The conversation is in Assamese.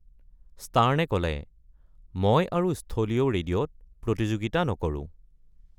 ষ্টাৰ্নে ক’লে, "মই আৰু স্থলীয় ৰেডিঅ'ত প্ৰতিযোগিতা নকৰো।"